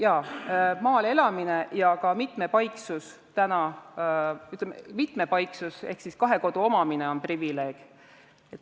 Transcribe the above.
Jaa, maal elamine ja ka mitmepaiksus ehk kahe kodu omamine on privileeg.